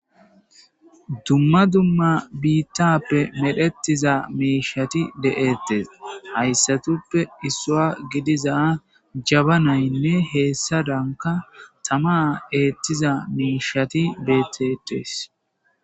Dumma dumma biittappe medhetiza miishati de'ettes hayssatuppe issua gidiza jaba naynne heessa danka tama eettiza miishati betetees.